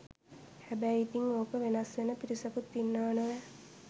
හැබැයි ඉතින් ඕක වෙනස් වෙන පිරිසකුත් ඉන්නවා නොවැ